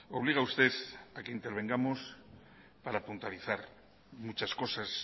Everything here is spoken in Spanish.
obliga usted a que intervengamos para puntualizar muchas cosas